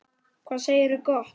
Hvað segirðu gott?